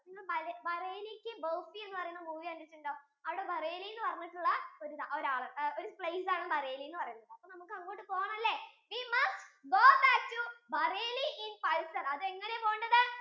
bareilly ki barfi എന്ന movie കണ്ടിട്ടുണ്ടോ? അവിടെ ബറേലി എന്ന്പറഞ്ഞിട്ടുള്ള ഒരു ആൾ ഒരു place ആണ് bareli എന്ന് പറയുന്നത്. അപ്പൊ നമുക്ക് അങ്ങോട് പോണല്ലേ. we must go back to bareilly in bison. അത് എങ്ങനെയാ പോവേണ്ടത്